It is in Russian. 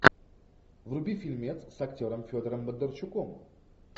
вруби фильмец с актером федором бондарчуком